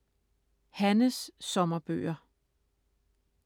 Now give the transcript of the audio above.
Hannes sommerbøger: